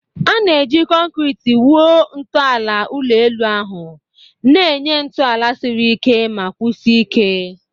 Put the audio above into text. A na-eji kọnkịtị wuo ntọala ụlọ elu ahụ, na-enye ntọala siri ike ma kwụsie ike.